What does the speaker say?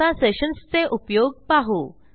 आता सेशन्स चे उपयोग पाहू